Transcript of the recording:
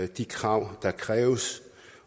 de krav der kræves